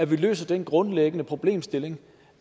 vi løser den grundlæggende problemstilling